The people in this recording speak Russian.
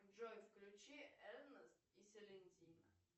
джой включи энос и селентина